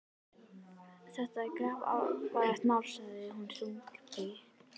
Þetta er grafalvarlegt mál sagði hann þungbrýnn.